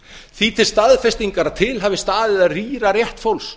því til staðfestingar að til hafi staðið að rýra rétt fólks